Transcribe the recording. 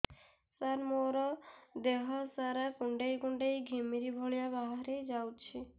ସାର ମୋର ଦିହ ସାରା କୁଣ୍ଡେଇ କୁଣ୍ଡେଇ ଘିମିରି ଭଳିଆ ବାହାରି ଯାଉଛି